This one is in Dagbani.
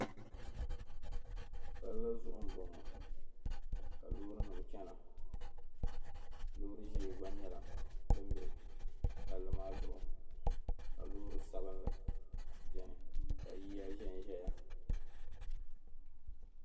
Palli zuɣu m-bɔŋɔ ka loorinima chana loori ʒee gba nyɛla din be palli maa zuɣu ka loori sabinli beni ka yiya ʒen ʒeya.